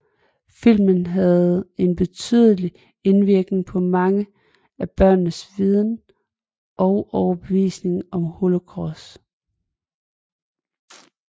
Filmen havde en betydelig indvirkning på mange af børnenes viden og overbevisning om holocaust